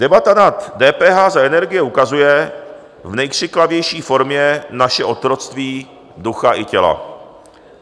Debata na DPH za energie ukazuje v nejkřiklavější formě naše otroctví ducha i těla.